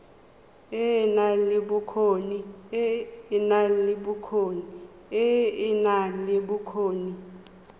e e nang le bokgoni